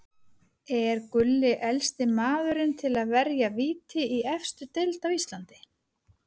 Er Gulli elsti maðurinn til að verja víti í efstu deild á Íslandi?